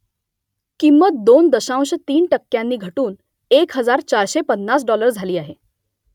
किंमत दोन दशांश तीन टक्क्यांनी घटून एक हजार चारशे पन्नास डाॅलर झाली आहे